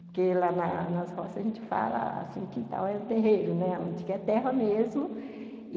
Porque, lá na nas roças, a gente fala que o quintal é o terreiro, né, onde é terra mesmo.